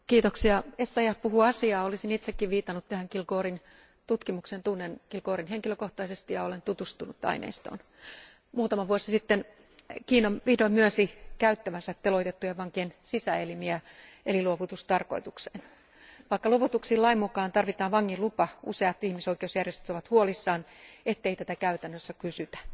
Arvoisa puhemies, kollega Essayah puhuu asiaa, olisin itsekin viitannut tähän Kilgourin tutkimukseen. Tunnen Kilgourin henkilökohtaisesti ja olen tutustunut aineistoon. Muutama vuosi sitten Kiina vihdoin myönsi käyttävänsä teloitettujen vankien sisäelimiä luovutustarkoitukseen. Vaikka luovutuksiin lain mukaan tarvitaan vangin lupa, useat ihmisoikeusjärjestöt ovat huolissaan siitä, ettei tätä käytännössä kysytä.